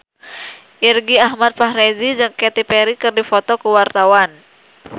Irgi Ahmad Fahrezi jeung Katy Perry keur dipoto ku wartawan